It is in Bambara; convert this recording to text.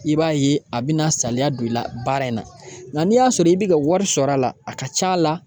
I b'a ye a bɛna saliya don i la baara in na ŋa n'i y'a sɔrɔ i bɛ ka wari sɔr'a la a ka c'a la